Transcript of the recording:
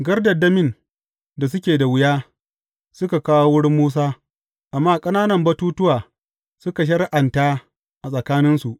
Gardandamin da suke da wuya, suka kawo wurin Musa, amma ƙananan batuttuwa, suka shari’anta a tsakaninsu.